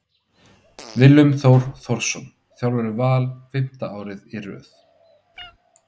Willum Þór Þórsson þjálfar Val fimmta árið í röð.